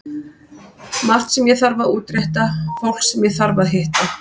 Margt sem ég þarf að útrétta, fólk sem ég þarf að hitta.